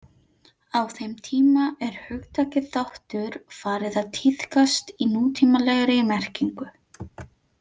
Á þeim tíma er hugtakið þáttur farið að tíðkast í nútímalegri merkingu.